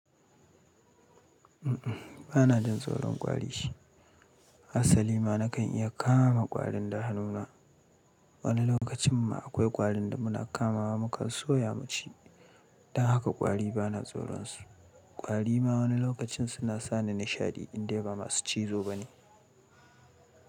Ba na jin tsoron ƙwari. Asali ma na kan iya kama ƙwarin da hannuna. Wani lokacin ma akwai ƙwarin da muna kamawa mu kan soya mu ci. Don haka ƙwari ba na tsoron su. Ƙwari ma wani lokacin suna sa ni nishaɗi in dai ba masu cizo ba ne.